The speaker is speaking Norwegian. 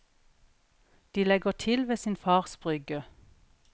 De legger til ved sin fars brygge.